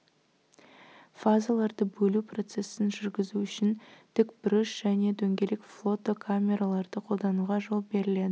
фазаларды бөлу процессін жүргізу үшін тікбұрыш және дөңгелек флотокамераларды қолдануға жол беріледі